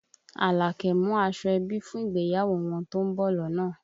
Àlàkẹ́ mú aṣọ ẹbí fún ìgbéyàwó wọn tó ń bọ̀ lọ́nà